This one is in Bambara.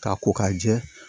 K'a ko k'a jɛ